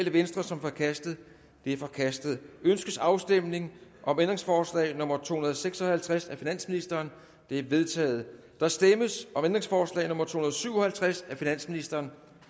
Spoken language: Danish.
rv som forkastet det er forkastet ønskes afstemning om ændringsforslag nummer to hundrede og seks og halvtreds af finansministeren det er vedtaget der stemmes om ændringsforslag nummer to hundrede og syv og halvtreds af finansministeren